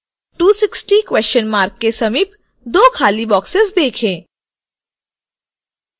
260 question mark के समीप दो खाली boxes देखें